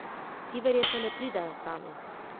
Ti verjetno ne pridejo sami?